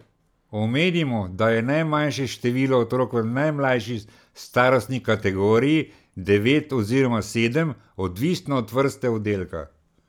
Omenimo, da je najmanjše število otrok v najmlajši starostni kategoriji devet oziroma sedem, odvisno od vrste oddelka.